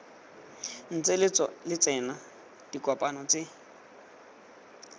ntse lo tsena dikopano mme